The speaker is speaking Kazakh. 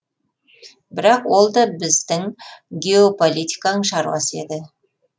бірақ ол да біздің геополитиканың шаруасы еді